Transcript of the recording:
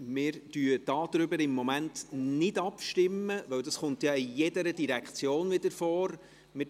Im Moment stimmen wir nicht darüber ab, weil diese Berichterstattung bei jeder Direktion vorkommt.